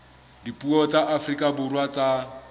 dipuo tsa afrika borwa tsa